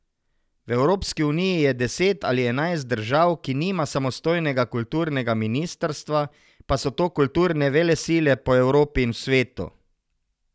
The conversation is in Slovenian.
V Evropski uniji je deset ali enajst držav, ki nima samostojnega kulturnega ministrstva, pa so to kulturne velesile po Evropi in v svetu.